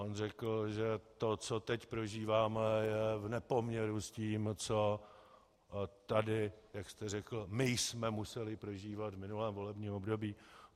On řekl, že to, co teď prožíváme, je v nepoměru s tím, co tady, jak jste řekl, jsme my museli prožívat v minulém volebním období.